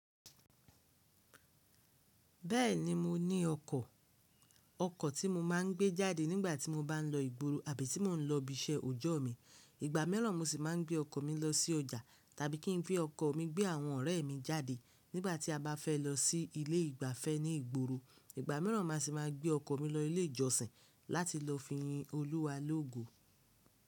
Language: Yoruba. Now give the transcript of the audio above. Bẹ́ẹ̀ni mo ní ọkọ̀, ọkọ̀ tí mo máa ń gbé jáde nígbà tí mo bá ń lọ ìgboro àbí tí mò ń lọ ibi iṣẹ́ ọjọ́ mi. Ìgbà mìíràn mo sì máa ń gbé ọkọ̀ mi lọ sí ọjà tàbí kí n gbé ọkọ̀ mi gbé àwọn ọ̀rẹ́ mi jáde nígbà tí a bá fẹ́ lọ sí ilé ìgbafẹ́ ní ìgboro. Ìgbà mìíràn ma sì máa gbé ọkọ̀ mi lọ ilé ìjọsìn láti lọ fi yin Olúwa lógo.